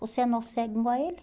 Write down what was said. Você é nó cego igual a ele.